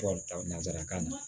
nanzarakan na